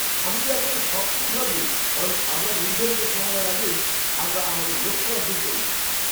আমি তো একেবারে সপ্তম স্বর্গে। কারণ আমরা নির্ধারিত সময়ের আগেই আমরা আমাদের লক্ষ্য অর্জন করেছি!